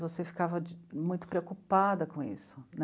Você ficava muito preocupada com isso né.